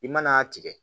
I mana a tigɛ